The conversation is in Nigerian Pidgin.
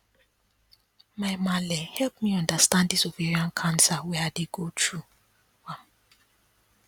my malle help me understand this ovarian cancer when i dey go through